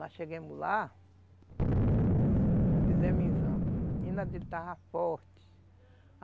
Nós chegamos lá, já fizemos exame, menina dele estava forte.